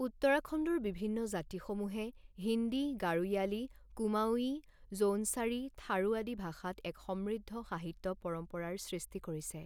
উত্তৰাখণ্ডৰ বিভিন্ন জাতিসমূহে হিন্দী, গাড়োয়ালী, কুমাওয়ি, জৌনছাৰী, থাৰু আদি ভাষাত এক সমৃদ্ধ সাহিত্য পৰম্পৰাৰ সৃষ্টি কৰিছে।